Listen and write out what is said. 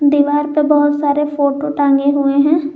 दीवार पर बहुत सारे फोटो टागे हुए हैं।